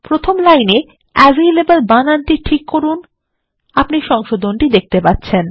প্রথম লাইনে অ্যাভালেবল বানানটি ঠিক করুন আপনি সংশোধনটি দেখতে পাচ্ছেন